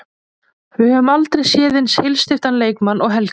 Við höfum aldrei séð eins heilsteyptan leikmann og Helga.